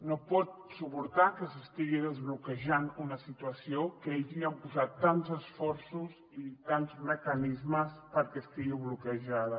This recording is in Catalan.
no pot suportar que s’estigui desbloquejant una situació que ells hi han posat tants esforços i tants mecanismes perquè estigui bloquejada